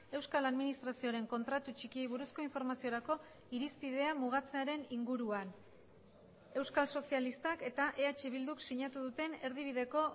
euskal administrazioaren kontratu txikiei buruzko informaziorako irispidea mugatzearen inguruan euskal sozialistak eta eh bilduk sinatu duten erdibideko